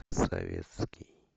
советский